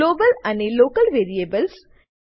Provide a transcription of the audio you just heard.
global અને local variables